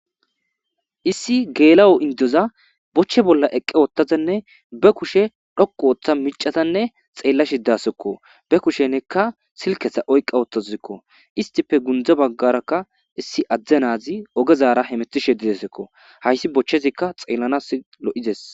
issi geela7o indoza bochche bolla eqqe oottazanne be kushe dhoqu ooththa micatanne xeella shidasekko be kushe nekka silkesa oyqqa oottazikko istife gundza baggarakka issi adzde naazi ogezaara hemetishe didesekko hayssi bochchezikka xeellanas lo7ides